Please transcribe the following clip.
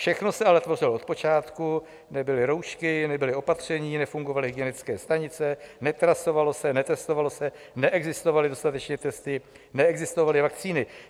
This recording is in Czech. Všechno se ale tvořilo od počátku, nebyly roušky, nebyla opatření, nefungovaly hygienické stanice, netrasovalo se, netestovalo se, neexistovaly dostatečně testy, neexistovaly vakcíny.